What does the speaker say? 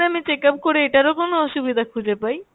আমি check up করে এটারও কোনো অসুবিধা খুঁজে পাই?